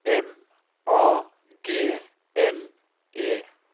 M A G N E